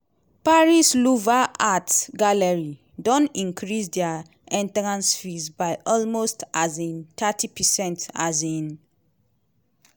paris' louvre art gallery don increase dia entrance fees by almost um thirty percent. um